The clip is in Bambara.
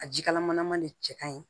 A jikalaman de cɛ ka ɲi